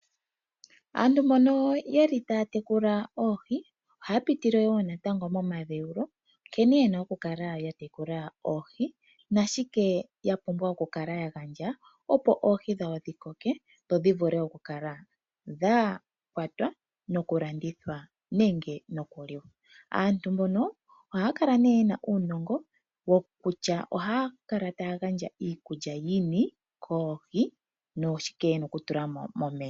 Aantu mbono taya tekula oohi ohaya pitile wo natango momadhewulo nkene ye na okukala ya tekula oohi nashike ya pumbwa okukala ya gandja, opo oohi dhawo dhi koke dho dhi vule okukala dha kwatwa nokulandithwa nenge nokuliwa. Aantu mbono ohaya kala nee ye na uunongo wokutya ohaya kala taya gandja iikulya yini koohi noshike ye na okutula mo momeya.